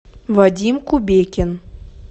вадим кубекин